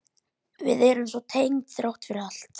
Við erum svo tengd þrátt fyrir allt.